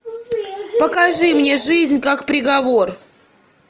покажи мне жизнь как приговор